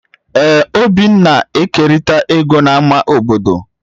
Ee obinna na-ekerịta ego na ama obodo